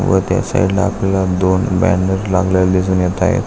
व त्या साइडला आपल्याला दोन बॅनर लावलेला दिसून येत आहे.